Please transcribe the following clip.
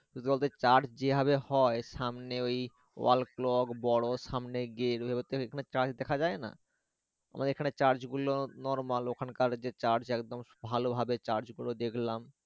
ওদের Church যেভাবে হয় সামনে ওই wall clock বড় সামনে গেলে হচ্ছে Church দেখা যায় না আমাদের এখান Church গুলো normal ওখানকার যে Church একদম ভালোভাবে Church গুলো দেখলাম